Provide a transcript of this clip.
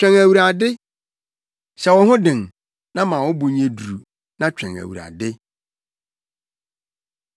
Twɛn Awurade. Hyɛ wo ho den na ma wo bo nyɛ duru na twɛn Awurade.